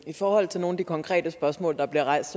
i forhold til nogle af de konkrete spørgsmål der bliver rejst